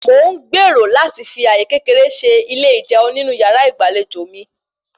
Mò ń gbèrò láti fi àyè kékeré se ilé ijẹun nínú yàrá ìgbàlejò mi